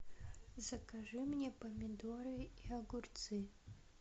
закажи мне помидоры и огурцы